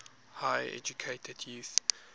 highly educated youth